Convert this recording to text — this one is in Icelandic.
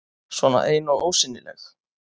Svona ein og ósýnileg.